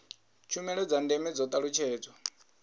tshumelo dza ndeme dzo talutshedzwa